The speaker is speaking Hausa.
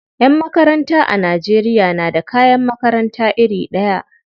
Yan makaranta a Najeriya na da kayan makarata iri ɗaya.